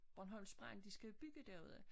Bornholms Brand de skal bygge derude